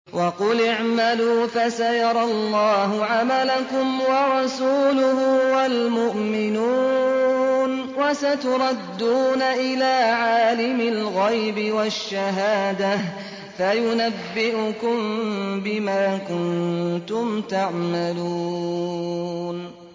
وَقُلِ اعْمَلُوا فَسَيَرَى اللَّهُ عَمَلَكُمْ وَرَسُولُهُ وَالْمُؤْمِنُونَ ۖ وَسَتُرَدُّونَ إِلَىٰ عَالِمِ الْغَيْبِ وَالشَّهَادَةِ فَيُنَبِّئُكُم بِمَا كُنتُمْ تَعْمَلُونَ